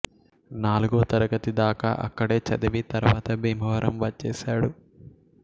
నాలుగో తరగతి దాకా అక్కడే చదివి తరువాత భీమవరం వచ్చేశాడు